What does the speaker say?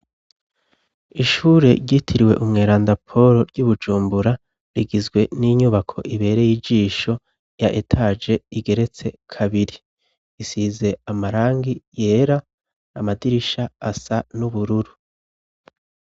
Ishure ryitiriwe umweranda Poro ry'iBujumbura rigizwe n'inyubako ibere y'ijisho ya etaje igeretse kabiri ,isize amarangi yera, amadirisha asa n'ubururu.